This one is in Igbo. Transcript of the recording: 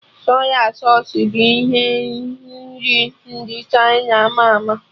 Sọy sausụ bụ ihe nri ndị Chịna ama ama